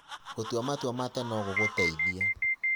Gũtua matua ma tene no gũgũteithie.